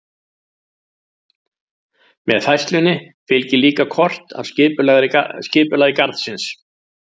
Með færslunni fylgir líka kort af skipulagi garðsins.